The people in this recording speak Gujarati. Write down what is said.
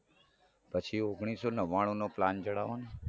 પછી ઓગણીસો નવ્વાણુનો plan જણાવોને